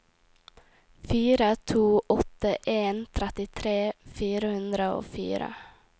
fire to åtte en trettitre fire hundre og fire